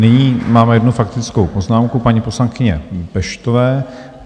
Nyní máme jednu faktickou poznámku paní poslankyně Peštové.